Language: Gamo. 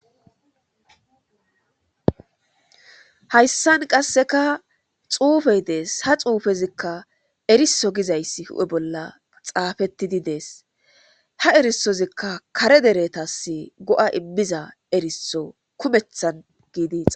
hayssan qasseka xuufey dees ha xuufezikka eriso gizayssi hu7e bolla xaafettidi dees ha erisozikka kare deretas go7a immiza eriso kumethan giidiis